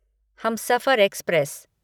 Humsafar express